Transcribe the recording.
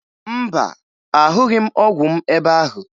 Mba, ahụghị m ọgwụ m ebe ahụ